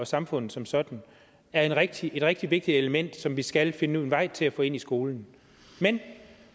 samfundet som sådan er et rigtig et rigtig vigtigt element som vi skal finde en vej til at få ind i skolen men